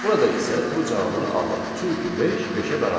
Burada isə true cavabını alırıq, çünki beş beşə bərabərdir.